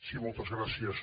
sí moltes gràcies